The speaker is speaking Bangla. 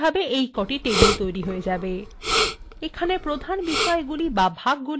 এখানে প্রধান বিষয়গুলি the ভাগগুলি হলো বই এবং সদস্য